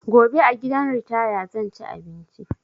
Gobe a gidan ritaya zan ci abinci